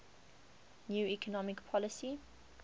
new economic policy